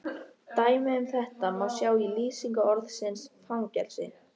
Dæmi um þetta má sjá í lýsingu orðsins fangelsi: